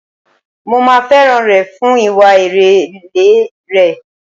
Mo máa fẹ́ràn rẹ̀ fún ìwà ìrẹ̀lẹ̀ rẹ̀.